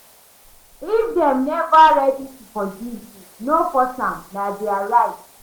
If dem neva ready to forgive you, no force am, na their right.